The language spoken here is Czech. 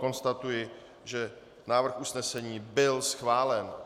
Konstatuji, že návrh usnesení byl schválen.